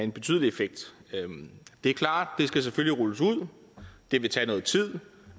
en betydelig effekt det er klart at det selvfølgelig skal rulles ud det vil tage noget tid